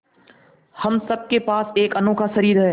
हम सब के पास एक अनोखा शरीर है